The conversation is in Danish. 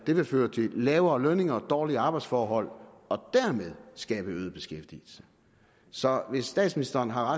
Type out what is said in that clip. det føre til lavere lønninger og dårlige arbejdsforhold og dermed skabe øget beskæftigelse så hvis statsministeren har